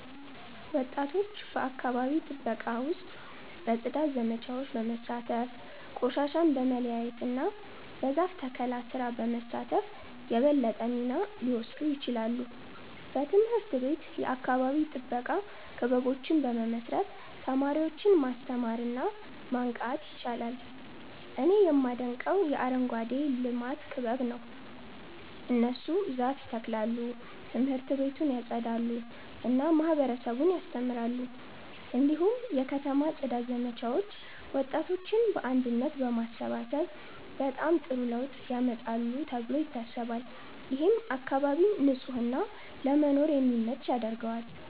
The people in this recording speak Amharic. ወጣቶች በአካባቢ ጥበቃ ውስጥ በጽዳት ዘመቻዎች በመሳተፍ፣ ቆሻሻን በመለያየት እና በዛፍ ተከላ ስራ በመሳተፍ የበለጠ ሚና ሊወስዱ ይችላሉ። በትምህርት ቤት የአካባቢ ጥበቃ ክበቦችን በመመስረት ተማሪዎችን ማስተማር እና ማንቃት ይቻላል። እኔ የማደንቀው የአረንጓዴ ልማት ክበብ ነው። እነሱ ዛፍ ይተክላሉ፣ ት/ቤቱን ያጸዳሉ እና ማህበረሰቡን ያስተምራሉ። እንዲሁም የከተማ ጽዳት ዘመቻዎች ወጣቶችን በአንድነት በማሰባሰብ በጣም ጥሩ ለውጥ ያመጣሉ ተብሎ ይታሰባል። ይህም አካባቢን ንጹህ እና ለመኖር የሚመች ያደርገዋል።